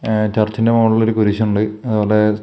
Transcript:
ഏ ചർച്ചിൻ്റെ മുകളില് ഒരു കുരിശിണ്ട് അതുപോലെ--